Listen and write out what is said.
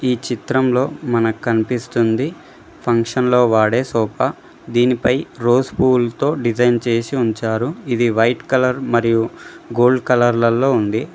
ఈ చిత్రంలో మనక్ కనిపిస్తుంది ఫంక్షన్ లో వాడే సోఫా దీనిపై రోజ్ పూల్తో డిజైన్ చేసి ఉంచారు ఇది వైట్ కలర్ మరియు గోల్డ్ కలర్ లల్లో ఉంది.